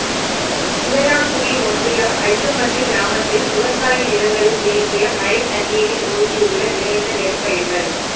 இளையான்குடி ஒன்றியம் அய்யம்பட்டி கிராமத்தில் விவசாய நிலங்களில் தேங்கிய மழைத்தண்ணீரில் மூழ்கியுள்ள விளைந்த நெற்பயிர்கள்